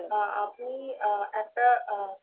আ~ আ~ আপনি একটা আ~